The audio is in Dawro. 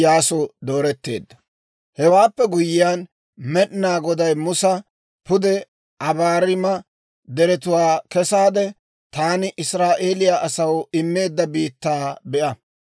Hewaappe guyyiyaan, Med'inaa Goday Musa, «Pude Abaarima Deretuwaa kesaade, taani Israa'eeliyaa asaw immeedda biittaa be'a.